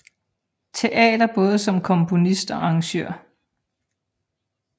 Teater både som komponist og arrangør